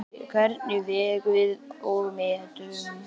Hvernig vegum við og metum?